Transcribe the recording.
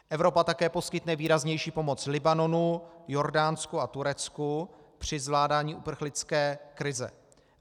Evropa také poskytne výraznější pomoc Libanonu, Jordánsku a Turecku při zvládání uprchlické krize.